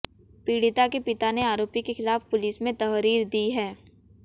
पीड़िता के पिता ने आरोपी के खिलाफ पुलिस में तहरीर दी है